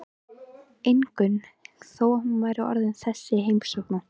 Ingunn þó hún væri orðin þessi heimskona.